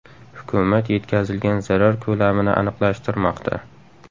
Hukumat yetkazilgan zarar ko‘lamini aniqlashtirmoqda.